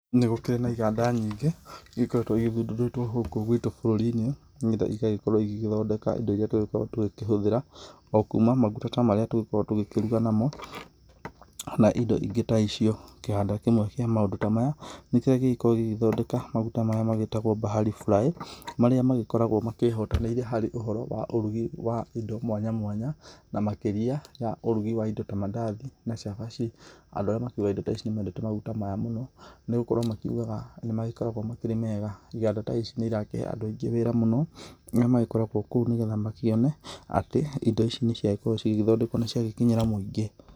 Nĩgũkĩrĩ na iganda nyingĩ ĩgĩkoretwe ithundũrĩtwe gũkũ gwitũ bũrũrinĩ, nĩgetha igagĩkorwo igĩthondeka indo irĩa tũngĩkorwo tũkĩhũthĩra okuma maguta tũngĩkorwo tũgĩkĩruga namo na indo ingĩ ta icio, kĩganda kĩmwe kĩa maũndũ ta maya nĩkĩrĩa kĩngĩgĩkorwo gĩgĩthondeka maguta maya magĩtagwo Bahari fry marĩa magĩkoragwo makĩhotanĩire harĩ ũhoro wa ũrugi wa indo mwanya mwanya na makĩria ũrugi wa indo ta mandathi na cabaci, andũ arĩa makĩgũraga indo ta ici nĩmakendete maguta maya mũno nĩgũkorwa makiugaga nĩmakĩrĩ mega, iganda ta ici nĩirakĩhe andũa aingĩ wĩra mũno nĩmo makoragwa kũu nĩguo makĩone atĩ indo ici ciakorwo cigĩthondekwa nĩciakĩnyira mũingĩ.